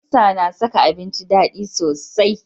Albasa na saka abinci dadi sosai.